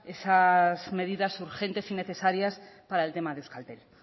esas medidas urgentes y necesarias para el tema de euskaltel